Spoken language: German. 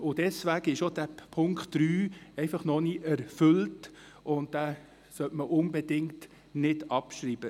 Deswegen ist auch der Punkt 3 noch nicht erfüllt, und deshalb sollte man ihn unter keinen Umständen abschreiben.